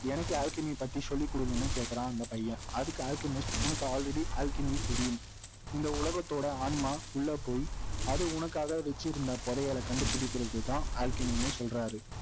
எனக்கு அல்கெமிஸ்ட் பத்தி சொல்லிகுடுங்கன்னு கேட்கிறான் அந்த பையன் அதுக்கு அல்கெமிஸ்ட் உனக்கு already alchemy தெரியும் இந்த உலகத்தோட ஆன்மா உள்ள போய் அது உனக்காக வைச்சிருந்த புதையலை கண்டுபிடிக்கிறதுதான் alchemy ன்னு சொல்றார்